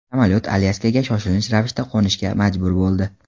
Samolyot Alyaskaga shoshilinch ravishda qo‘nishga majbur bo‘ldi.